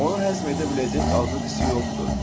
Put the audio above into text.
Onu həzm edə biləcək azlıq hissi yoxdur.